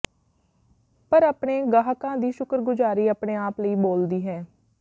ਪਰ ਆਪਣੇ ਗਾਹਕਾਂ ਦੀ ਸ਼ੁਕਰਗੁਜ਼ਾਰੀ ਆਪਣੇ ਆਪ ਲਈ ਬੋਲਦੀ ਹੈ